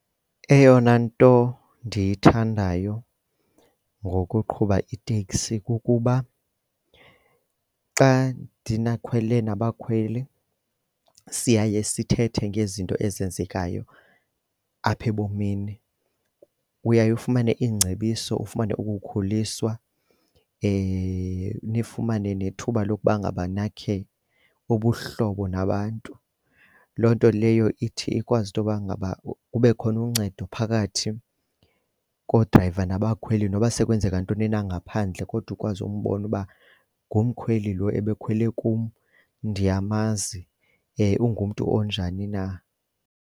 Eyona nto ndiyithandayo ngokuqhuba iteksi kukuba xa ndinakhwele nabakhweli siye sithethe ngezinto ezenzekayo apha ebomini, uyaye ufumane iingcebiso ufumane ukukhuliswa nifumane nethuba lokuba ngaba nakhe ubuhlobo nabantu. Loo nto leyo ithi ikwazi intoba ngaba kube khona uncedo phakathi koodrayiva nabakhweli noba sekwenzeka ntoni na ngaphandle kodwa ukwazi umbona uba ngumkhweli lo ebekhwele kum ndiyamazi ungumntu onjani na.